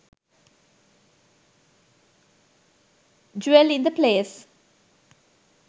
jewel in the palace